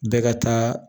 Bɛɛ ka taa